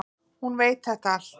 Hún veit þetta allt.